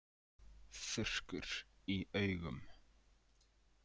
Þurrkur í augum.